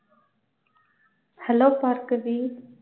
Hello Bhargavi.